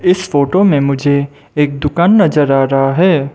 इस फोटो मे मुझे एक दुकान नजर आ रहा है।